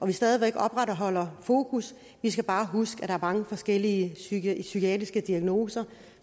vi stadig væk opretholder fokus vi skal bare huske at der er mange forskellige psykiatriske diagnoser